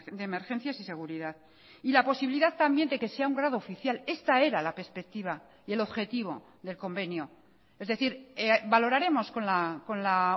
de emergencias y seguridad y la posibilidad también de que sea un grado oficial esta era la perspectiva y el objetivo del convenio es decir valoraremos con la